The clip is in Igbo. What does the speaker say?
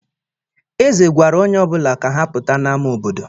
Ézè gwara onye ọ bụla ka ha pụta n'ama obodo.